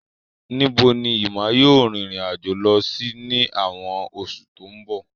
Níbo ni Emma yóò rìnrìn àjò lọ sí ní àwọn oṣù tó ń bọ̀?